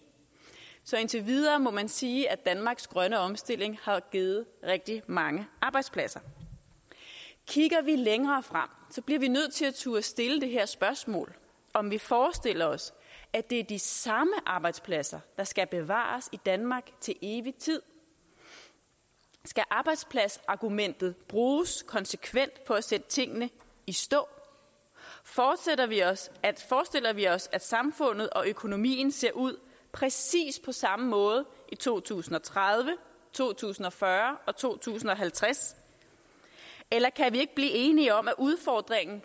så indtil videre må man sige at danmarks grønne omstilling har givet rigtig mange arbejdspladser kigger vi længere frem bliver vi nødt til at turde stille det her spørgsmål om vi forestiller os at det er de samme arbejdspladser der skal bevares i danmark til evig tid skal arbejdspladsargumentet bruges konsekvent for at sætte tingene i stå forestiller vi os vi os at samfundet og økonomien ser ud præcis på samme måde i to tusind og tredive to tusind og fyrre og 2050 eller kan vi ikke blive enige om at udfordringen